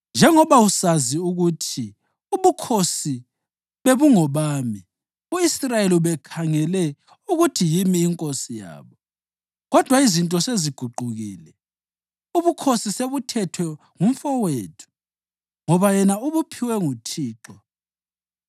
“Njengoba usazi ukuthi ubukhosi bebungobami. U-Israyeli ubekhangele ukuthi yimi inkosi yabo. Kodwa izinto seziguqukile, ubukhosi sebuthethwe ngumfowethu, ngoba yena ubuphiwe nguThixo.